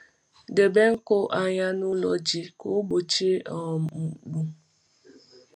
Debe nkụ anya n’ụlọ ji ka ọ ọ gbochie um mkpọ.